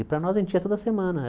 E para nós a gente ia toda semana.